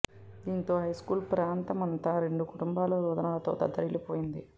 దీంతో హైస్కూల్ ప్రాంత మంతా రెండు కుటుంబాల రోదనలతో దద్దరిల్లి పోయింది